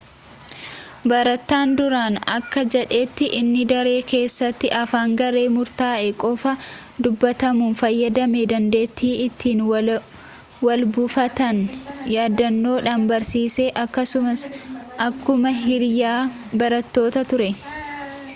barataan duraanii akka jedhetti inni ‘daree keessatti afaan garee murtaa’e qofaan dubbatamu fayyadame dandeettii ittiin walbuufatan yaadannoodhaan barsiise akkasumas akkuma hiriyaa barattootaa ture.’